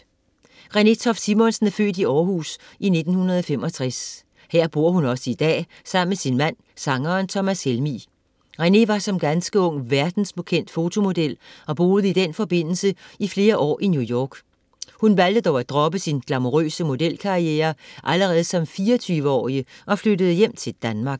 Renée Toft Simonsen er født i Århus i 1965. Her bor hun også i dag sammen med sin mand, sangeren Thomas Helmig. Renée var som ganske ung verdenskendt fotomodel og boede i den forbindelse flere år i New York. Hun valgte dog at droppe sin glamourøse modelkarriere allerede som 24-årig og flyttede hjem til Danmark.